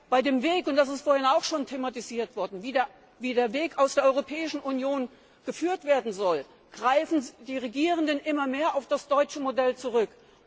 Bei dem Weg und das ist vorhin auch schon thematisiert worden, wie der Weg der Europäischen Union geführt werden soll greifen die Regierenden immer mehr auf das deutsche Modell zurück.